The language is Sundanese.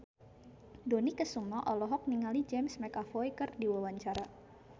Dony Kesuma olohok ningali James McAvoy keur diwawancara